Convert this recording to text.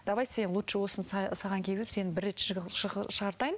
давай сені лучше осыны саған кигізіп сені бір рет шығартайын